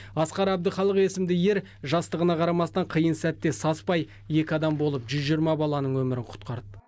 асқар әбдіхалық есімді ер жастығына қарамастан қиын сәтте саспай екі адам болып жүз жиырма баланың өмірін құтқарды